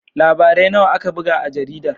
Labarai nawa aka buga a jaridar?